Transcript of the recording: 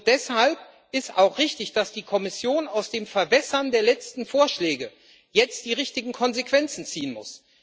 Deshalb ist auch richtig, dass die Kommission aus dem Verwässern der letzten Vorschläge jetzt die richtigen Konsequenzen ziehen muss.